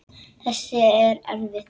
Þessi er erfið.